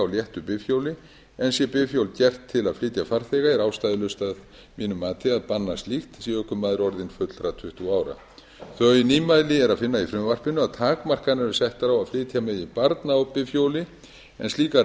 á léttu bifhjóli en sé bifhjól gert til að flytja farþega er ástæðulaust að mínu mati að banna slíkt sé ökumaður orðinn fullra tuttugu ára þau nýmæli er að finna í frumvarpinu að takmarkanir eru settar á að flytja megi barn á bifhjóli en slíkar